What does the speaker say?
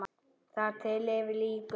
Þar til yfir lýkur.